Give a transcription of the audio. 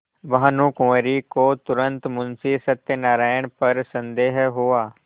भानुकुँवरि को तुरन्त मुंशी सत्यनारायण पर संदेह हुआ